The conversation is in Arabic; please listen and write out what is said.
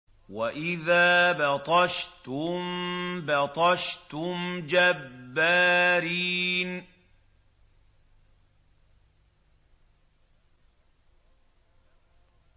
وَإِذَا بَطَشْتُم بَطَشْتُمْ جَبَّارِينَ